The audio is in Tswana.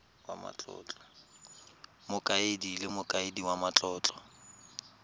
mokaedi le mokaedi wa matlotlo